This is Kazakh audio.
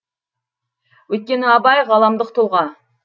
өйткені абай ғаламдық тұлға